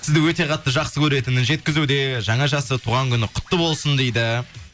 сізді өте қатты жақсы көретінін жеткізуде жаңа жасы туған күні құтты болсын дейді